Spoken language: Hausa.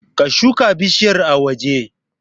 Ka shuka bishiyar a waje